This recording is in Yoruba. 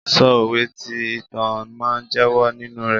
Sọ òwe tí ìtàn máa jẹyọ nínú rẹ.